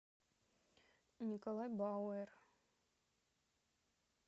николай бауэр